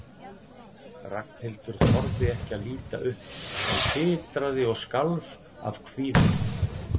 Ragnhildur þorði ekki að líta upp en titraði og skalf af kvíða.